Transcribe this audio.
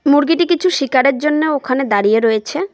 মুরগিটি কিছু শিকারের জন্যে ওখানে দাঁড়িয়ে রয়েছে।